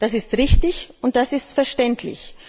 Das ist richtig, und das ist verständlich.